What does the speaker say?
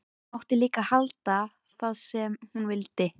Mátti líka halda það sem hún vildi.